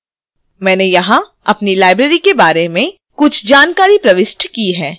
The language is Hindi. मैंने यहां अपनी library के बारे में कुछ जानकारी प्रविष्ट की है